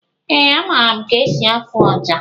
Ee, amara m ka esi afụ ọjà